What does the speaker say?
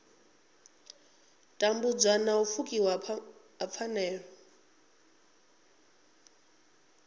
tambudzwa na pfukiwa ha pfanelo